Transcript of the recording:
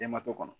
Denbato kɔnɔ